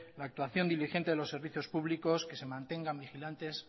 la actuación diligente de los servicios públicos que se mantengan vigilantes